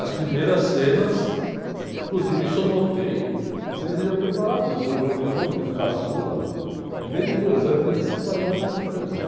As primeiras cenas, inclusive isso eu notei, não sei se vocês já ouviram falar disso, eu notei o meu filho caçula, ele desde dois anos, que ele, cinco horas da manhã, estava assistindo televisão.